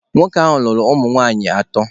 Nwoke ahụ lụrụ ụmụ nwaanyị atọ.